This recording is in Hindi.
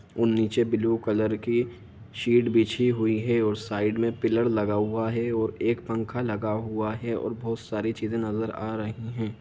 और नीचे ब्लू कलर की शीट बिछी हुई है और साइड में पिलर लगा हुआ है और एक पंखा लगा हुआ है और बहोत सारी चीजें नजर आ रही है।